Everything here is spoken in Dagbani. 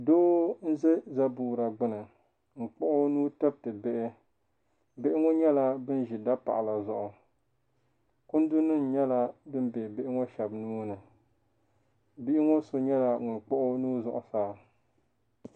Doo n za zabuura gbini n kpuɣi o nuu tiriti bihi bihi ŋɔ nyɛla ban ʒi ta paɣa zuɣu kundu nima nyɛla din be bihi ŋɔ Sheba nuuni bihi ŋɔ so nyɛla ŋun kpuɣi o nuu zuɣusaa.